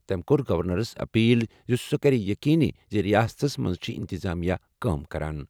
تٔمۍ کٔر گورنرَس اپیل زِ سُہ کرِ یہِ یٔقیٖنی زِ رِیاستَس منٛز چھِ انتظامیہ کٲم کران۔